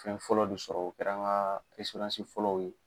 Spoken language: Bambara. Fɛn fɔlɔ bi sɔrɔ o kɛra ŋaa fɔlɔw ye.